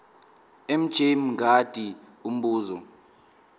mj mngadi umbuzo